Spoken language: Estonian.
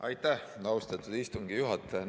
Aitäh, austatud istungi juhataja!